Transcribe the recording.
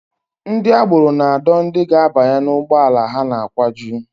Ndị agbero na-adọ ndị ga-abanye n'ụgbọala ha na-akwaju